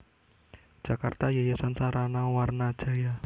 Jakarta Yayasan Sarana Wana Jaya